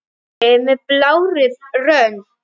Hvítri með blárri rönd.